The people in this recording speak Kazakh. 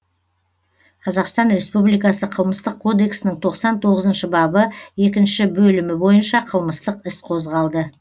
қазақстан республикасы қылмыстық кодексінің тоқсан тоғызыншы бабы екінші бөлімі бойынша қылмыстық іс қозғалды